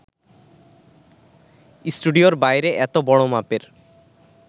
স্টুডিওর বাইরে এত বড় মাপের